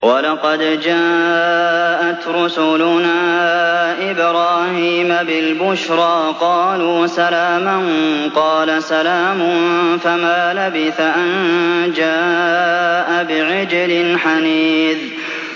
وَلَقَدْ جَاءَتْ رُسُلُنَا إِبْرَاهِيمَ بِالْبُشْرَىٰ قَالُوا سَلَامًا ۖ قَالَ سَلَامٌ ۖ فَمَا لَبِثَ أَن جَاءَ بِعِجْلٍ حَنِيذٍ